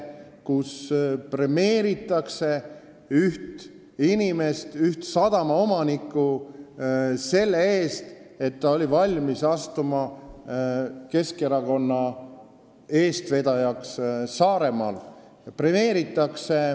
Premeeritakse üht inimest, üht sadamaomanikku selle eest, et ta oli valmis asuma Saaremaal Keskerakonna eestvedajaks.